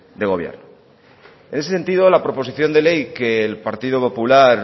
de gobierno en ese sentido la proposición de ley que el partido popular